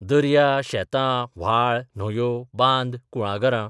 दर्या, शेतां, व्हाळ, न्हंयो, बांद, कुळागरां.